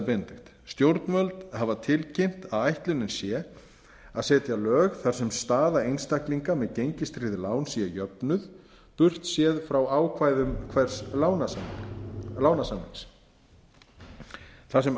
benedikt stjórnvöld hafa tilkynnt að ætlunin sé að setja lög þar sem staða einstaklinga með gengistryggð lán séu jöfnuð burt séð frá ákvæðum hvers lánasamnings þar sem